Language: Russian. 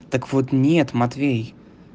так вот нет матвей